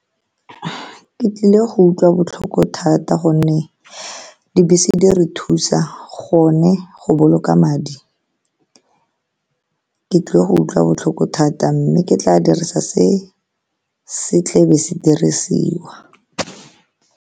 Ke tlile go utlwa botlhoko thata ka gonne dibese di re thusa, gone go boloka madi. Ke tlile go utlwa botlhoko thata, mme ke tla dirisa se se tlabe se dirisiwa.